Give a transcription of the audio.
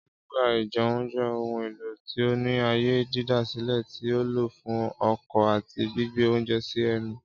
Ámúga -íjẹun jẹ ohun elo ti o ni aaye didasilẹ ti a lo fun ọkọ ati gbigbe ounjẹ si ẹnu.